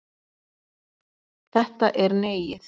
Þetta er Neiið.